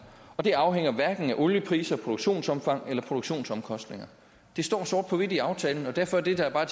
det afhænger hverken af oliepriser produktionsomfang eller produktionsomkostninger det står sort på hvidt i aftalen derfor er det der